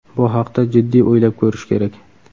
Bu haqda jiddiy o‘ylab ko‘rish kerak.